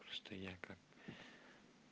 что я как